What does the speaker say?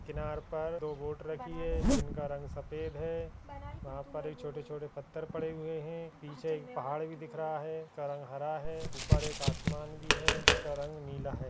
किनार पर दो बोट रखी है जिनका रंग सफ़ेद है वहाँ पर छोटे छोटे पत्थर पड़े हुए हैं। पीछे एक पहाड़ भी दिख रहा है जिसका रंग हरा है। ऊपर एक असमान भी है जिसका रंग नीला है।